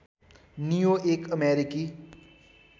नियो एक अमेरिकी